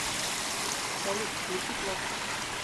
салют включи клок